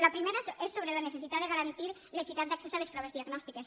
la primera és sobre la necessitat de garantir l’equitat d’accés a les proves diagnòstiques